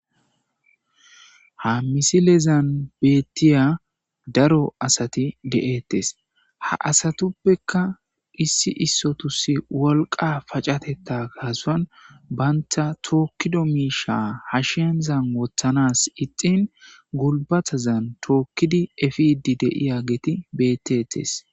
Ha misilezan beettiya daro asati de7ettes ha asatuppekka issi issotus wolqa pacatetta gaasuan banta tookkido miisha hashiyanzan wothanas ixin gulbatazan tookkidi efidi deiya geti bettettes.